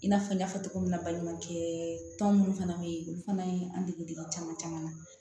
I n'a fɔ n y'a fɔ cogo min na balimakɛ tɔn munnu fana bɛ yen olu fana ye an dege caman caman na